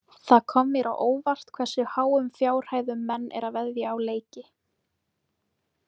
Það kom mér á óvart hversu háum fjárhæðum menn eru að veðja á leiki.